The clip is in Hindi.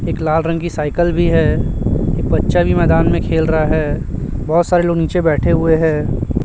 एक लाल रंग की साइकल भी है एक बच्चा भी मैदान में खेल रहा है बहोत सारे लोग नीचे बैठे हुए है।